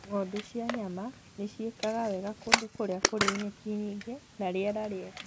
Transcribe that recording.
Ng'ondu cia nyama nĩ ciekaga wega kũndũ kũrĩa kũrĩ nyeki nyingĩ na rĩera rĩega.